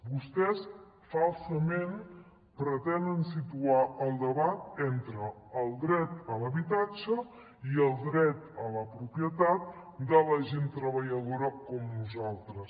vostès falsament pretenen situar el debat entre el dret a l’habitatge i el dret a la propietat de la gent treballadora com nosaltres